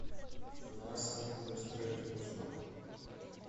мясо быстро и вкусно